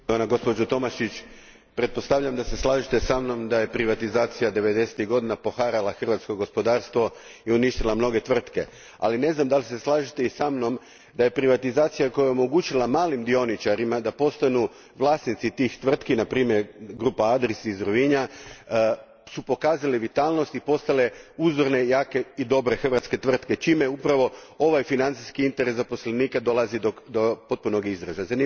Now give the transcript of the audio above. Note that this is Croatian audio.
Gospodine predsjedniče, gospođo Tomašić, pretpostavljam da se slažete sa mnom da je privatizacija devedesetih godina poharala hrvatsko gospodarstvo i uništila mnoge tvrtke. Ali, ne znam da li se slažete sa mnom da je privatizacija omogućila malim dioničarima da postanu vlasnici onih tvrtki, na primjer Adris grupa iz Rovinja, koje su pokazale vitalnost i postale uzorne, jake i dobre hrvatske tvrtke, čime upravo ovaj financijski interes zaposlenika dolazi do potpunog izražaja.